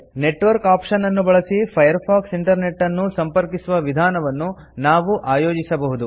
network option ಅನ್ನು ಬಳಸಿ Firefox internet ಅನ್ನು ಸಂಪರ್ಕಿಸುವ ವಿಧಾನವನ್ನು ನಾವು ಆಯೋಜಿಸಬಹುದು